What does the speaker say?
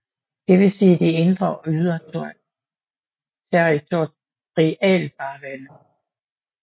Det vil sige de indre og ydre territorialfarvande